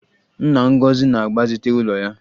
Nna Ngozi na-agbazite ụlọ ya